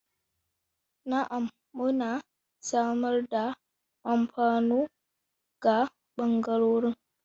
Na'am, muna samar da alfano ga bangarorin.